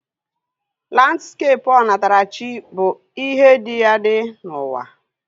Landskepụ onatarachi bụ ihe dị adị n'ụwa